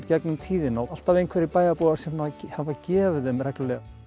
gegnum tíðina og alltaf einhverjir bæjarbúar sem hafa gefið þeim reglulega